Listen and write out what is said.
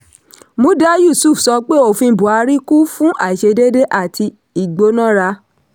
muda yusuf sọ pé òfin buhari kún fún àìṣedéédé àti ìgbónára.